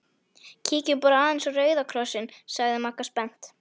Kíkjum bara aðeins á Rauða Kross- inn sagði Magga spennt.